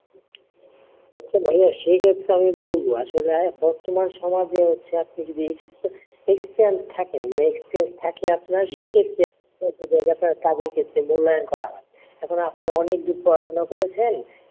সেই ক্ষেত্রে আমি বলব আসলে বর্তমান সময় যে হচ্ছে আপনি যদি experience থাকেন experience থাকে আপনার সেই ক্ষেত্রে কাজের ক্ষেত্রে মূল্যায়ন করা হয় এবার আপনি অনেক দূর পড়াশোনা করেছেন,